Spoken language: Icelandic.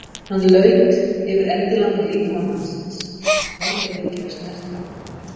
Hann laut yfir endilangan líkama mannsins, þorði ekki að snerta.